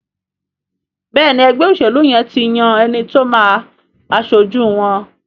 Béèni ègbé òṣèlú yén tí yàn ti ẹní tí o má aṣojú wón.